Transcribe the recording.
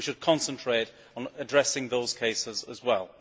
We should concentrate on addressing those cases as well.